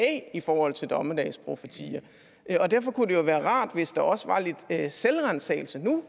i forhold til dommedagsprofetier og derfor kunne det jo være rart hvis der nu også var lidt selvransagelse